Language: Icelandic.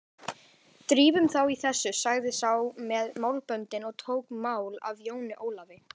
Drífum þá í þessu, sagði sá með málböndin og tók mál af Jóni Ólafi.